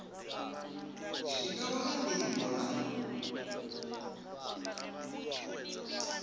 zwi nga wana ndivho na